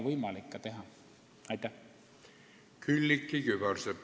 Külliki Kübarsepp, palun!